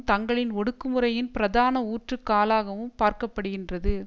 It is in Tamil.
தங்களின் ஒடுக்குமுறையின் பிரதான ஊற்றுக் காலாகவும் பார்க்கப்படுகின்றது